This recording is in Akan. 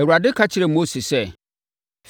Awurade ka kyerɛɛ Mose sɛ: